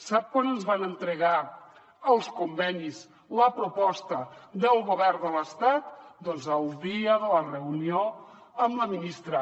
sap quan ens van entregar els convenis la proposta del govern de l’estat doncs el dia de la reunió amb la ministra